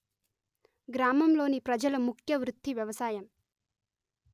గ్రామం లోని ప్రజల ముఖ్య వృత్తి వ్యవసాయం